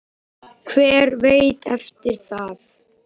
Hver veit eftir það?